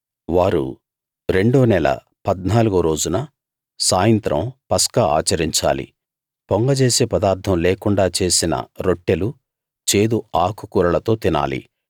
వారు రెండో నెల పద్నాలుగో రోజున సాయంత్రం పస్కా ఆచరించాలి పొంగజేసే పదార్ధం లేకుండా చేసిన రొట్టెలు చేదు ఆకు కూరలతో తినాలి